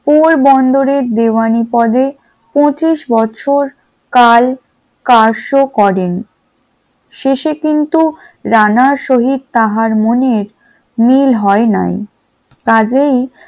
পোরবন্দরের দেওয়ানী পদে পঁচিশ বছর কাল কাজও করেন, শেষে কিন্তু রানার সহিত তাহার মনে মিল হয় নাই । কাজেই